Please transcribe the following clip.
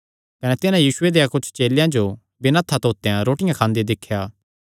कने तिन्हां यीशुये देयां कुच्छ चेलेयां जो बिना हत्थां धोतेयो रोटी खांदे दिख्या